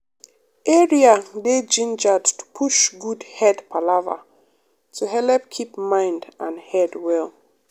area dey gingered to push good head palava to helep keep mind and head well.